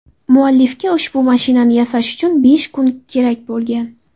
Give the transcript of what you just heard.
Muallifga ushbu mashinani yasash uchun besh kun kerak bo‘lgan.